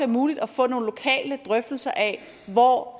muligt at få nogle lokale drøftelser af hvor